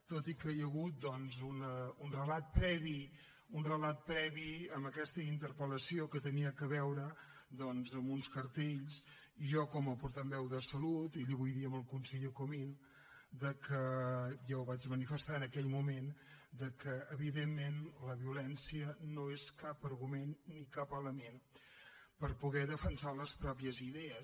tot i que hi ha hagut un relat previ en aquesta interpellació que tenia a veure amb uns cartells jo com a portaveu de salut vull dir al conseller comín ja ho vaig manifestar en aquell moment que evidentment la violència no és cap argument ni cap element per poder defensar les pròpies idees